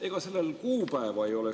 Ega sellel kuupäeva ei ole?